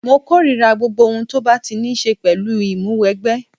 Mo korira gbogbo ohun tó bá ti ní ṣe pẹ̀lú Ìmúwẹgbẹ́